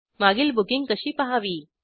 मागील बुकींग कशी पहावी